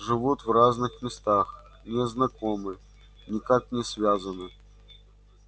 живут в разных местах не знакомы никак не связаны